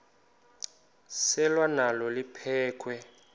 selwa nalo liphekhwe